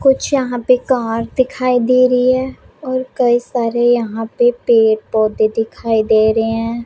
ਕੁਛ ਯਹਾਂ ਪੇ ਕਾਰ ਦਿਖਾਈ ਦੇ ਰਹੀ ਹੈ ਔਰ ਕਈ ਸਾਰੇ ਯਹਾਂ ਪਰ ਪੇੜ ਪੌਧੇ ਦਿਖਾਏ ਦੇ ਰਹੇ ਹੈਂ।